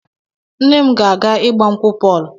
Nne m ga-aga ịgba nkwụ Pọl.